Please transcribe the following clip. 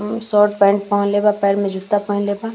उ shirt pant पहनले बा पैर में जुत्ता पहेनले बा।